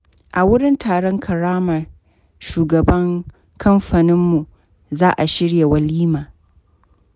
A wurin taron karrama shugaban kamfaninmu, za a shirya walima.